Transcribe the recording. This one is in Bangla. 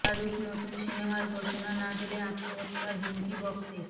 শাহরুখ নতুন সিনেমার ঘোষণা না দিলে আত্মহত্যার হুমকি ভক্তের